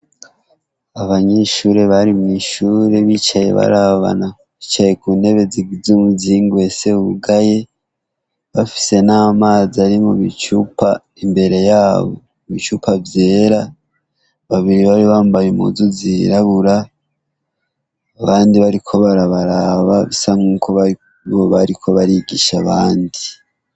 Abanyeshure bari mw'ishure bicaye barabana bicaye ku ntebe zigize umuzingi uhese wugaye, bafise n'amazi ari mu bicupa imbere yabo ibicupa vyera, babiri bari bambaye impuzu zirabura, abandi bariko barabaraba bisa nk'uko bariko barigisha abandi.